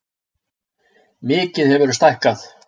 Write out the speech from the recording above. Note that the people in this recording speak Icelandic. Mikið hefurðu stækkað.